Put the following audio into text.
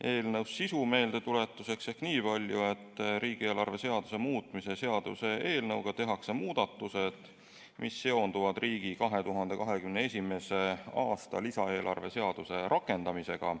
Eelnõu sisu meeldetuletuseks nii palju, et riigieelarve seaduse muutmise seaduse eelnõuga tehakse muudatused, mis seonduvad riigi 2021. aasta lisaeelarve seaduse rakendamisega.